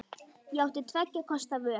Ég átti tveggja kosta völ.